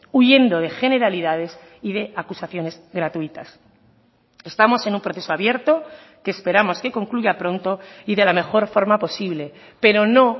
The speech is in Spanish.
huyendo de generalidades y de acusaciones gratuitas estamos en un proceso abierto que esperamos que concluya pronto y de la mejor forma posible pero no